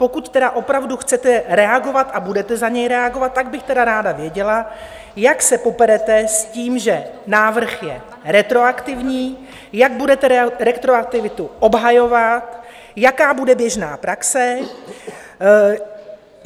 Pokud tedy opravdu chcete reagovat a budete za něj reagovat, tak bych tedy ráda věděla, jak se poperete s tím, že návrh je retroaktivní, jak budete retroaktivitu obhajovat, jaká bude běžná praxe.